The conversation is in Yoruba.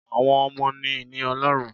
Àwọn ọmọ ni ìní Ọlọ́run